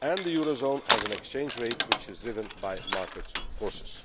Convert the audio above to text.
and the eurozone has an exchange rate which is driven by market forces.